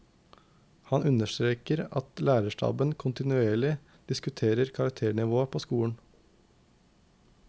Han understreker at lærerstaben kontinuerlig diskuterer karakternivået på skolen.